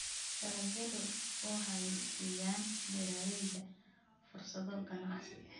Dalagyadu waxay siiyaan beeralayda fursado ganacsi.